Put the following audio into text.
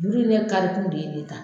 Nunnu ne karikun de ye ne ta.